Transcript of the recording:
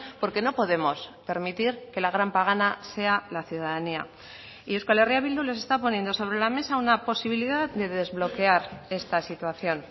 porque no podemos permitir que la gran pagana sea la ciudadanía y euskal herria bildu les está poniendo sobre la mesa una posibilidad de desbloquear esta situación